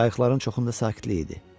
Qayıqların çoxunda sakitlik idi.